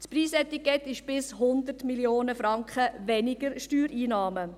Das Preisetikett heisst: bis 100 Mio. Franken weniger Steuereinnahmen.